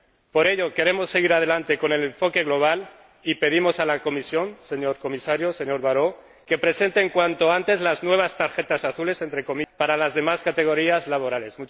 Por ello queremos seguir adelante con el enfoque global y pedimos a la Comisión, señor Comisario, señor Barrot, que presenten cuanto antes las nuevas tarjetas azules para las demás categorías laborales.